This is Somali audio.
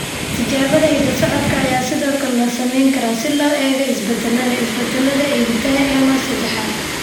Tijaabada hidda-socodka ayaa sidoo kale la samayn karaa si loo eego isbeddellada (isbeddellada) ee hiddaha ENO sedexaad.